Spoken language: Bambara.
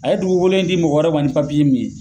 A ye duguk olo in di mɔgɔ wɛrɛ ma ni papiye min ye